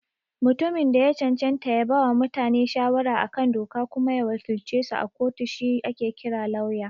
Mutumin da ya cancanta ya bawa mutane shawara a kan doka kuma ya wakilcesu a kotu shi ake kira Lauya.